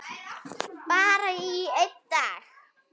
Bara í einn dag.